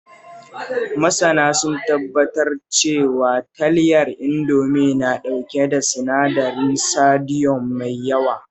Masana sun tabbatar cewa, talyar Indomi na ɗauke da sinadarin sodiyom mai yawa